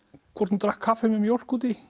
hvort hún drakk kaffi með mjólk út í